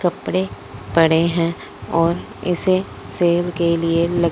कपड़े पड़े हैं और इसे सेल के लिए ल--